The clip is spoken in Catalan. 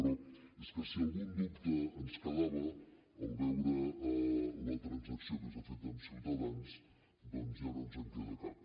però és que si algun dubte ens quedava al veure la transacció que s’ha fet amb ciutadans doncs ja no ens en queda cap